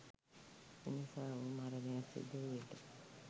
එනිසා ඔවුහු මරණයක් සිදු වූ විට